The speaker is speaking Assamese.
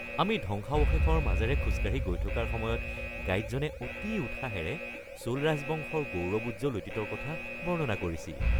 আমি ধ্বংসাৱশেষৰ মাজেৰে খোজ কাঢ়ি গৈ থকাৰ সময়ত গাইডজনে অতি উৎসাহেৰে চোল ৰাজবংশৰ গৌৰৱোজ্জ্বল অতীতৰ কথা বৰ্ণনা কৰিছিল।